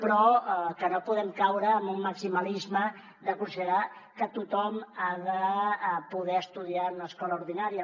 però que no podem caure en un maximalisme de considerar que tothom ha de poder estudiar en una escola ordinària